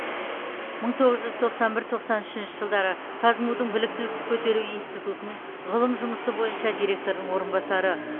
мың тоғыз жүз тоқсан бір тоқсан үшінші жылдары қазму дың біліктілікті көтеру институтының ғылым жұмысы бойынша директордың орынбасары